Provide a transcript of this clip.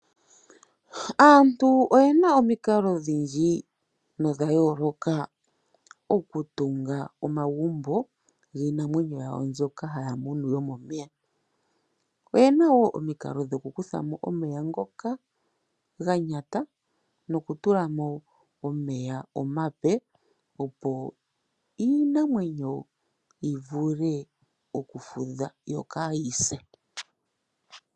Aantu oyena omikalo odhindji no dha yooloka oku tunga omagumbo giinamwenyo yawo mboka haya munu yo momeya. Oyena woo omikalo dhoku kuthamo omeya ngoka ga nyanata. Noku tulamo omeya omape, opo iinamenyo yivule oku futha yo kaayise.